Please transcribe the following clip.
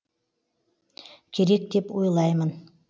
керек деп ойлаймын